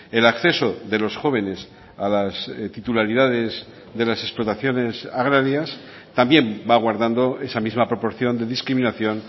el acceso de los jóvenes a las titularidades de las explotaciones agrarias también va guardando esa misma proporción de discriminación